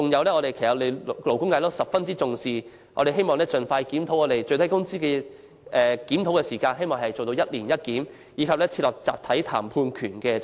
最後是勞工界十分重視的問題，我們希望當局盡快檢討最低工資制度，做到"每年一檢"，並設立集體談判權制度。